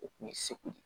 O kun ye segu de ye